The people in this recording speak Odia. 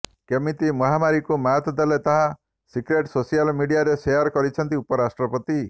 କେମିତି ମହାମାରୀକୁ ମାତ ଦେଲେ ତାର ସିକ୍ରେଟ ସୋସିଆଲ୍ ମିଡିଆରେ ସେୟାର କରିଛନ୍ତି ଉପରାଷ୍ଟ୍ରପତି